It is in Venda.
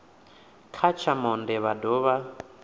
kha tsha monde vha dovha